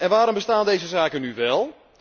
Waarom bestaan deze zaken nu wel?